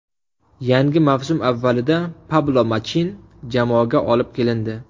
Yangi mavsum avvalida Pablo Machin jamoaga olib kelindi.